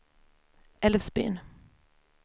Älvsbyn